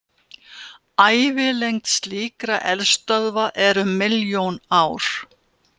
Ævilengd slíkra eldstöðva er um milljón ár.